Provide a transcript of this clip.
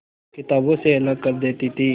किताबों से अलग कर देती थी